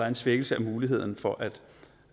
en svækkelse af muligheden for